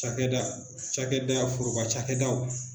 Cakɛda cakɛda foroba cakɛdaw